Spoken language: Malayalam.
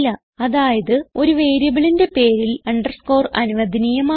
അതായത് ഒരു വേരിയബിളിന്റെ പേരിൽ അണ്ടർസ്കോർ അനുവദനീയമാണ്